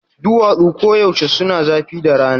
Duwatsu koyaushe suna zafi da rana.